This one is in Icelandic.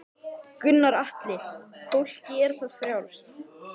Gunnar Atli: Fólki er það frjálst?